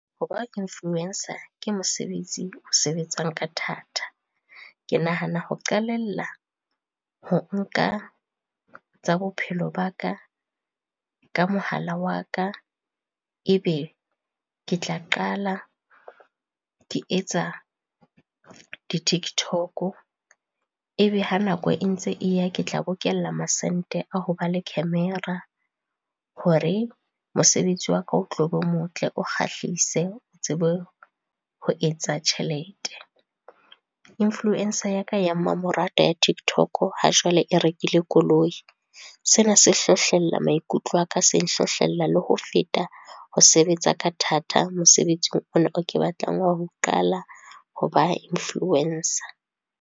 Ho ba influencer ke mosebetsi o sebetsang ka thata. Ke nahana ho qalella ho nka tsa bophelo ba ka, ka mohala wa ka e be ke tla qala ke etsa di-TikTok, e be ha nako e ntse e ya ke tla bokella masente a ho ba le camera hore mosebetsi waka o tlobo motle, o kgahlise, o tsebe ho etsa tjhelete. Influencer ya ka ya mamoratwa ya TikTok ha jwale e rekile koloi, sena se hlohlella maikutlo a ka, se nhlohlella le ho feta ho sebetsa ka thata mosebetsing ona o ke batlang ho qala ho ba influencer.